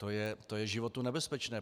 To je životu nebezpečné.